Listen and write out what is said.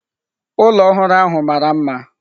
Ụlọ ọhụrụ ahụ mara mma.